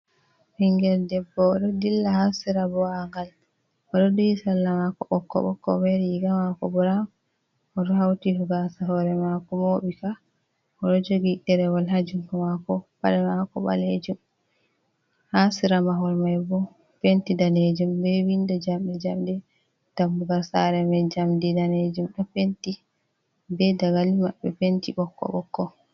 Ɓingel debbo oɗo dilla ha sera bua'ngal oɗo duyi salla mako ɓokko-ɓokko be riga mako burawn oɗo hauti gasa hore mako mo ɓi ka. Oɗo jogi ɗerewol ha jungo mako paɗe mako balejum, ha sera mahol mai bo penti danejum be windo jamɗe-jamde dammugal sare mai jamdi danejum ɗo penti be dagali maɓɓe penti ɓokko-ɓokko.